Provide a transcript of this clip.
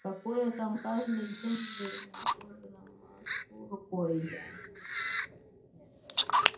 какое там каждый день безнадёжно машу рукой я